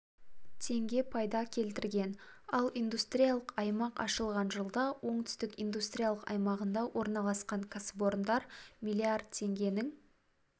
теңге пайда келтірген ал индустриялық аймақ ашылған жылда оңтүстік индустриялық аймағында орналасқан кәсіпорындар млрд теңгенің